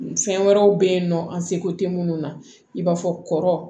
Fɛn wɛrɛw bɛ yen nɔ an seko tɛ minnu na i b'a fɔ kɔrɔ